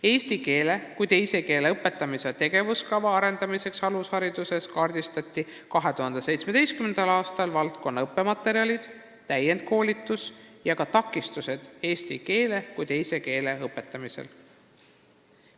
Eesti keele kui teise keele õpetamise tegevuskava arendamiseks alushariduses kaardistati 2017. aastal valdkonna õppematerjalid, täienduskoolituse seis ja ka takistused eesti keele kui teise keele õpetamisel.